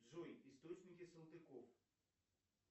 джой источники салтыков